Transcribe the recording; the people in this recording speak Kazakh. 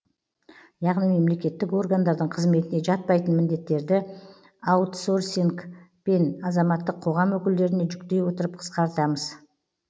яғни мемлекеттік органдардың қызметіне жатпайтын міндеттерді аутсорсинг пен азаматтық қоғам өкілдеріне жүктей отырып қысқартамыз